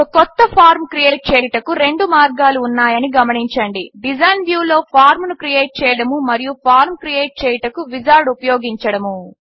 ఒక కొత్త form create చేయుటకు రెండు మార్గాలు ఉన్నాయని గమనించండి డిజైన్ వ్యూ లో ఫార్మ్ ను క్రియేట్ చేయడము మరియు ఫార్మ్ క్రియేట్ చేయుటకు విజార్డ్ ఉపయోగించడము